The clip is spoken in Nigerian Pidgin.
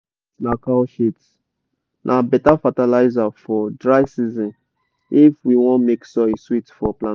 cow shit na cow shit na beta fertilizer for dry season if we wan make soil sweet for planting.